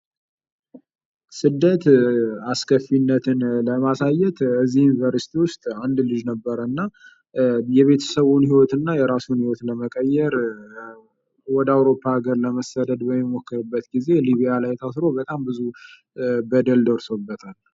የስደት አስከፊነትን ለማሳየት ዩኒቨርስቲ ውስጥ አንድ ልጅ ነበረ እና የራሱና የቤተሰቡን ህይወት ለመቀየር ወደ አውሮፓ ወደ አውሮፓ ለመሰደድ በሚሞክርበት ጊዜ ሊቢያ ላይታስሮ በጣም ብዙ በደል ደርሶበታል።